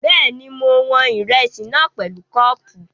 Bẹ́ẹ̀ni, mo wọn ìrẹsì náà pẹ̀lú kọ́ọ̀pù